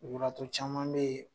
Lujuratɔ caman be yen